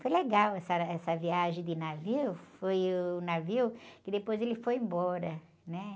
Foi legal essa, essa viagem de navio, foi o navio que depois ele foi embora, né?